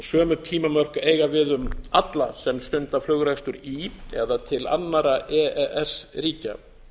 sömu tímamörk eiga við um alla sem stund flugrekstur í eða til annarra e e s ríkja